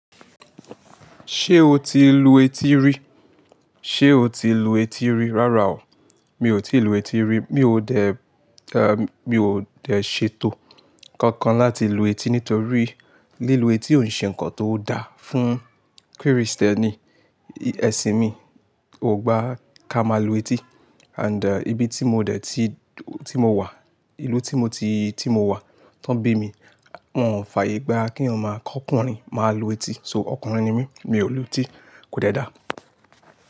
Ṣé o ti lu etí rí? Sé o ti lu etí rí? Rárá o, mi ò tí lu etí rí. Mi ò dẹ̀, mi ò dẹ̀ ṣètò kankan láti lu etí nítorí lílu etí ò ṣe ǹkan tó da fún Kristẹni. Ẹ̀sìn mi ò gbá ká máa lu etí and ibi tí mo dẹ̀ tí, tí mo wà, ìlú tí mo ti, tí mo wà, tán bí mi, wọ́n ò fàyè gbá keyan ma kọ́kùnrin máa lu etí. So ọkùnrin ni mí, mi ò lu etí. Kò de dáa.